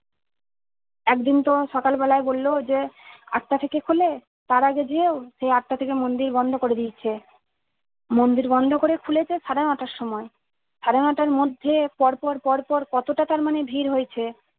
একদিন তো সকাল বেলায় বলল যে আটটা থেকে খুলে তার আগে যেও যেয়ে আটটা থেকে মুন্দির বন্ধ করে দিয়েছে মন্দির বন্ধ করে খুলেছে সাড়ে নয়টার সময় সাড়ে নয়টার মধ্যে পরপর পরপর কত টা মানে ভিড় হয়েছে